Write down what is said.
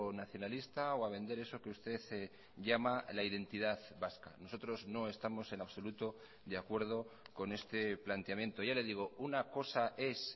nacionalista o a vender eso que usted llama la identidad vasca nosotros no estamos en absoluto de acuerdo con este planteamiento ya le digo una cosa es